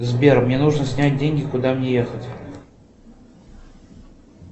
сбер мне нужно снять деньги куда мне ехать